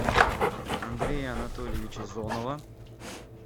андрея анатольевича зонова